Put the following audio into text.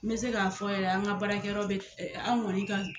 N bɛ se k'a fɔ yɛrɛ an ka baarakɛyɔrɔ bɛ an kɔni ka